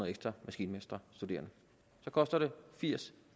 ekstra maskinmesterstuderende det koster firs